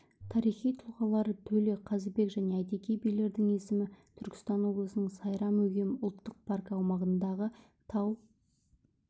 тарихи тұлғалары төле қазыбек және әйтеке билердің есімі түркістан облысының сайрам-өгем ұлттық паркі аумағындағы тау